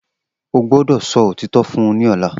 O gbọdọ sọ otitọ fun u ni ọla!